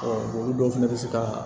olu dɔw fɛnɛ bɛ se ka